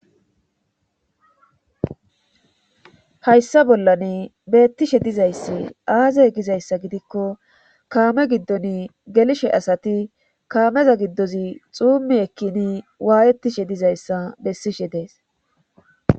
Hayssa bollane beettishe dizayssi aazey gizayssa gidikko kaame giddon gelishe asati kaameza giddozi xuummi ekkini waayettishe dizayssa bessishe dees